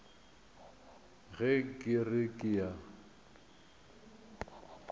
ge ke re ke a